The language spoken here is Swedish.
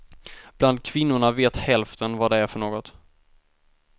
Bland kvinnorna vet hälften vad det är för något.